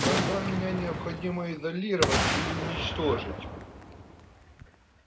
тогда меня необходимо изолировать или уничтожить